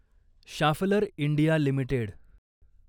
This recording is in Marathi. Schaeffler India limited